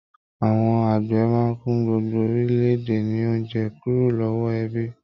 Àwọn àgbẹ̀ máa n fún gbogbo orílẹ̀-èdè ní oúnjẹ kúrò lọwọ ebi.